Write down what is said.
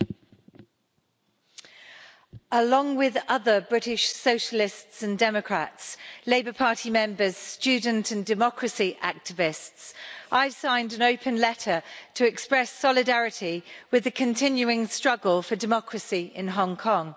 Madam President, along with other British Socialists and Democrats, Labour Party members, students and democracy activists, I signed an open letter to express solidarity with the continuing struggle for democracy in Hong Kong.